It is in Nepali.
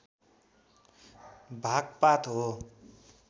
भाग पात हो